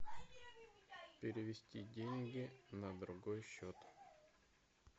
перевести деньги на другой счет